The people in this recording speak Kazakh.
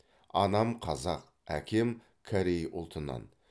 анам қазақ әкем корей ұлтынан